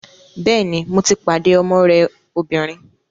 Bẹ́ẹ̀ni, mo ti pàdé ọmọ rẹ obìnrin